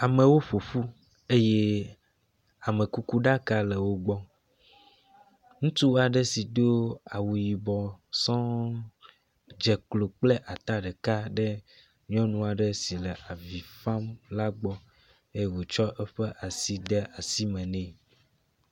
Amewo ƒoƒu eye amekukuɖaka le wogbɔ, ŋutsu aɖe si do awu yibɔ sɔɔ̃ dzeklo kple ata ɖeka ɖe nyɔnu aɖe si le avi fam la gbɔ eye wotsɔ eƒe asi ɖe asi me nɛ